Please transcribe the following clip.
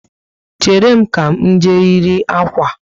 Chéré m, ka m jee yiri akwa